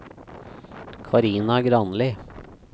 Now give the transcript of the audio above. Karina Granli